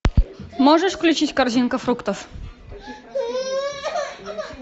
можешь включить корзинка фруктов